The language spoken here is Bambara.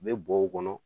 U bɛ bɔ o kɔnɔ